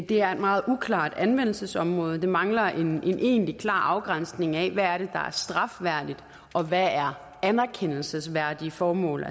det er et meget uklart anvendelsesområde det mangler en egentlig klar afgrænsning af hvad det er der er strafværdigt og hvad der er anerkendelsesværdige formål